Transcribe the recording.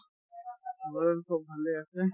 ঘৰৰ চব ভালে আছে